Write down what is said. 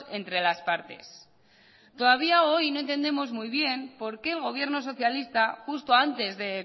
entre las partes todavía hoy no entendemos muy bien por qué el gobierno socialista justo antes de